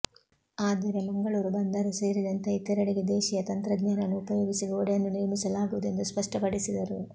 ಆದರೆ ಮಂಗಳೂರು ಬಂದರು ಸೇರಿದಂತೆ ಇತರಡೆಗೆ ದೇಶಿಯ ತಂತ್ರಜ್ಞಾನವನ್ನು ಉಪಯೋಗಿಸಿ ಗೋಡೆಯನ್ನು ನಿರ್ಮಿಸಲಾಗುವುದು ಎಂದು ಸ್ಪಷ್ಟಪಡಿಸಿದರು